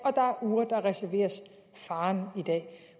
reserveres faren